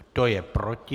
Kdo je proti?